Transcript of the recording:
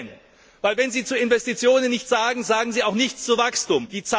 Denn wenn Sie zu Investitionen nichts sagen, sagen Sie auch nichts zu Wachstum.